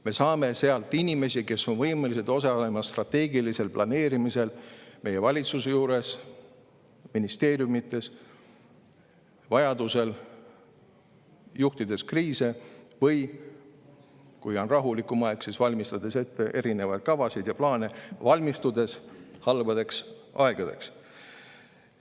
Me saame sealt inimesi, kes on võimelised osalema strateegilisel planeerimisel meie valitsuse juures, ministeeriumides, vajaduse korral juhtides kriise või kui on rahulikum aeg, siis valmistades ette erinevaid kavasid ja plaane, valmistudes halbadeks aegadeks.